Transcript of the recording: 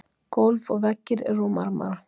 Gólf og veggir eru úr marmara.